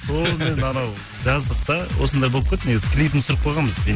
солмен анау жаздық та осындай болып кетті негізі клипін түсіріп қойғанбыз